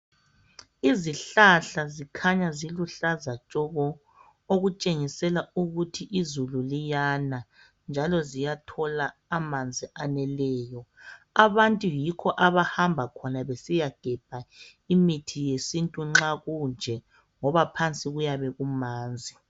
Izihlahla zikhanya ziluhlaza tshoko okutshengisela ukuthi izulu liyana njalo ziyathola amanzi ayeneleyo abantu yikho abahamba besiyagebha imithi yesintu nxa kunje ngoba phansi kuyabe kumanzi